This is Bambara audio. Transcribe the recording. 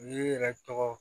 U y'i yɛrɛ tɔgɔ